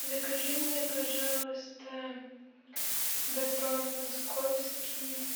закажи мне пожалуйста батон московский